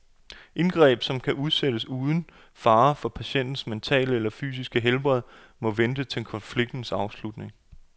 Indgreb, som kan udsættes uden fare for patientens mentale eller fysiske helbred, må vente til konfliktens afslutning.